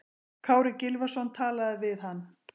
Kári Gylfason talaði við hann.